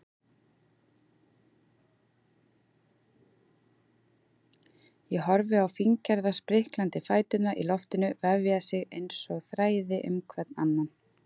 Ég horfi á fíngerða spriklandi fæturna í loftinu vefja sig einsog þræði hvern um annan.